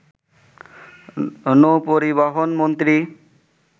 নৌপরিবহন মন্ত্রী